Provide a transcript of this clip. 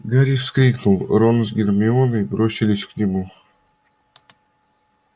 гарри вскрикнул рон с гермионой бросились к нему